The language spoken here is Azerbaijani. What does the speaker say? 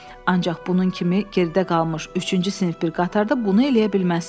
Ancaq bunun kimi gerdə qalmış üçüncü sinif bir qatarda bunu eləyə bilməzsən.